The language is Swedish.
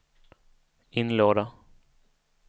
inlåda